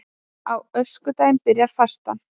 Á öskudag byrjar fastan